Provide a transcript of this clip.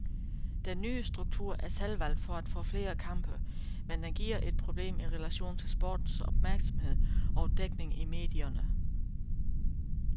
Den nye struktur er selvvalgt for at få flere kampe, men den giver et problem i relation til sportens opmærksomhed og dækning i medierne.